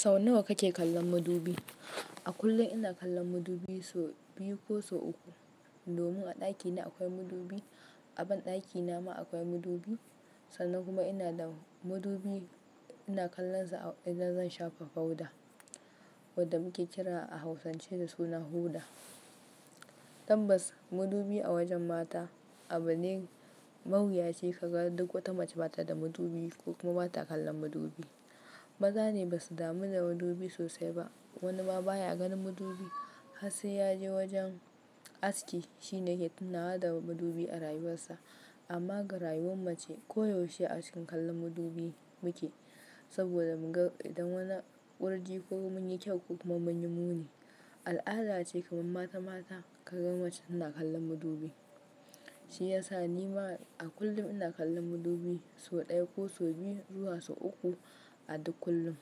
Sau nawa kake kallon madubi? A kullum ina kallon madubi sau biyu ko sau uku. Domin a ɗakina akwai madubi, a banɗakina ma akwai madubi, sannan kuma ina da madubi ina kallonsa idan zan shafa powder wadda muke kira a hausance da suna hoda. Tabbas madubi a wajen mata abu ne ma huyaci kaga duk wace mace bata da madubi ko kuma bata kallon madubi. Maza ne basu damu da madubi sosai ba. Wani ma baya ganin madubi har sai ya je wajen aski shine yake tunawa da madubi a rayuwarsa. Amma ga rayuwar mace koyaushe a cikin kallon madubi muke saboda mu ga idan wani kurji ko mun yi kyau ko kuma mun yi muni. Al'ada ce kamar mata mata ka ga mace tana kallon madubi. Shi ya sa ni ma a kullum ina kallon madubi sau ɗaya ko sau biyu zuwa sau uku a duk kullum.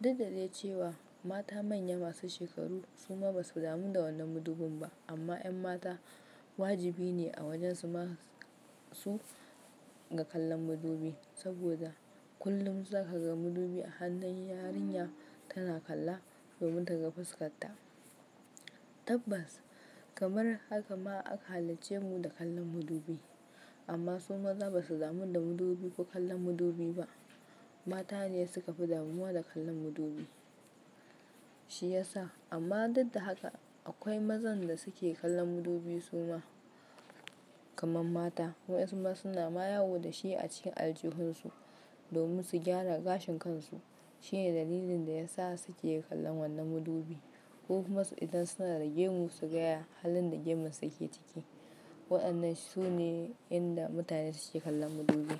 Duk da dai cewa mata manya masu shekaru su ma basu damu da wannan madubin ba amma 'yan mata wajibi ne a wajensu ma su ga kallon madubi saboda kullum zaka ga madubi a hannun yarinya tana kalla domin ta ga fuskarta. Tabbas kamar haka ma aka halicce mu da kallon madubi amma su maza basu damu da madubi ko kallon madubi ba. Mata ne suka fi damuwa da kallon madubi. Shi ya sa amma duk da haka akwai mazan da suke kallon madubi su ma kamar mata. Wayensu ma suna ma yawo da shi a cikin aljihunsu domin su gyara gashin kansu. Shi ne dalilin da ya sa su ke kallon wannan madubi ko kuma su idan suna da gemu su ga ya halin da gemun su yake ciki. Waɗannan su ne inda mutane suke kallon madubi.